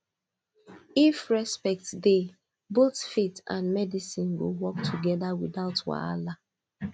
if respect dey both faith and medicine go work together without wahala